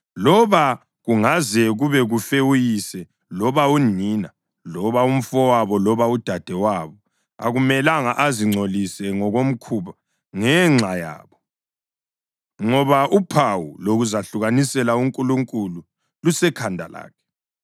Loba kungaze kube kufe uyise loba unina loba umfowabo loba udadewabo, akumelanga azingcolise ngokomkhuba ngenxa yabo, ngoba uphawu lokuzahlukanisela uNkulunkulu lusekhanda lakhe.